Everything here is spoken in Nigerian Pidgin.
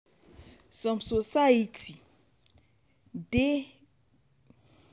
some society de dey hash on pipo wey get mental health challenge pass oda communities